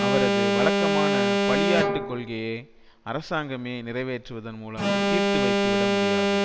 அவரது வழக்கமான பலியாட்டுக் கொள்கையே அரசாங்கமே நிறைவேற்றுவதன் மூலம் தீர்த்து வைத்துவிட முடியாது